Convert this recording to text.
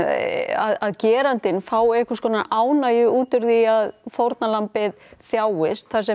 að gerandinn fái einhverskonar ánægju út úr því að fórnarlambið þjáist þar sem